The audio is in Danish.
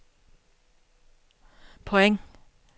point